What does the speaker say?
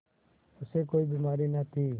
उसे कोई बीमारी न थी